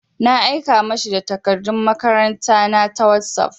Na aika ma shi da takardun makaranta na ta wosof.